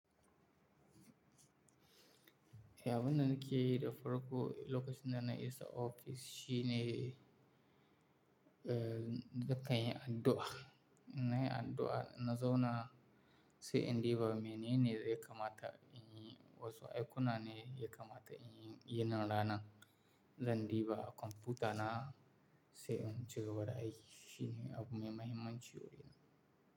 Eh abun da nake yi da farko lokacin dana isa ofis shine, eh, nake yin addu'a, nayi addu'a na zauna sai in diba menene yakamata inyi wasu aikuna ne yaka mata in yi nin rana, zan diba kwamfuta na sai in cigaba da aiki shine abu mai mahimmanci wurina.